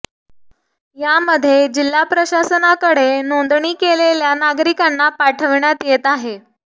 यामध्ये जिल्हा प्रशासनाकडे नोंदणी केलेल्या नागरिकांना पाठवण्यात येत आहे